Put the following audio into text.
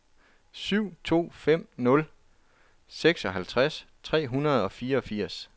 syv to fem nul seksoghalvtreds tre hundrede og fireogfirs